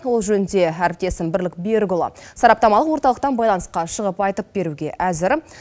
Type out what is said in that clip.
ол жөнінде әріптесім бірлік берікұлы сараптамалық орталықтан байланысқа шығып айтып беруге әзір